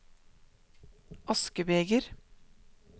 askebeger